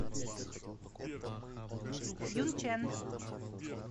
юнчэн